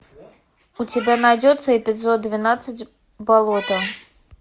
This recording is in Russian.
у тебя найдется эпизод двенадцать болото